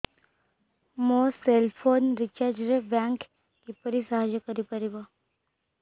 ମୋ cell phone recharge ରେ bank କିପରି ସାହାଯ୍ୟ କରିପାରିବ